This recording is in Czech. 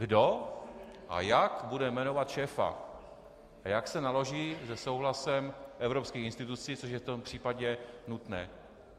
Kdo a jak bude jmenovat šéfa a jak se naloží se souhlasem evropských institucí, což je v tomto případě nutné?